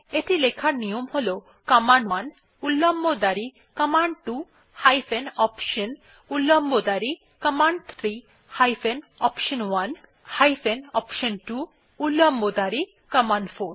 এটি লেখার নিয়ম হল কমান্ড1 উল্লম্ব দাঁড়ি কমান্ড2 হাইফেন অপশন উল্লম্ব দাঁড়ি command three hyphen option one hyphen option two উল্লম্ব দাঁড়ি কমান্ড4